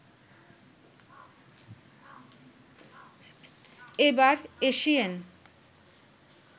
এবার এসিয়েন